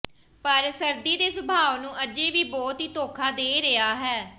ਪਰ ਸਰਦੀ ਦੇ ਸੁਭਾਅ ਨੂੰ ਅਜੇ ਵੀ ਬਹੁਤ ਹੀ ਧੋਖਾ ਦੇ ਰਿਹਾ ਹੈ